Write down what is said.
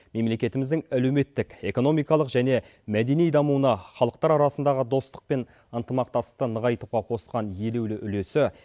мемлекетіміздің әлеуметтік экономикалық және мәдени дамуына халықтар арасындағы достық пен ынтымақтастықты нығайтуға қосқан елеулі үлесі